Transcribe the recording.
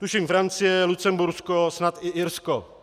Tuším Francie, Lucembursko, snad i Irsko.